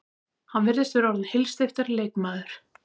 Hann virðist vera orðinn heilsteyptari leikmaður.